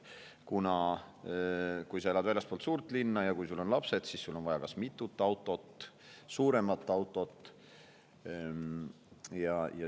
Kui sa elad väljaspool suurt linna või kui sul on lapsed, siis sul on vaja kas mitut autot või suuremat autot.